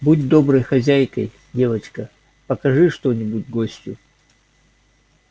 будь доброй хозяйкой девочка покажи что-нибудь гостю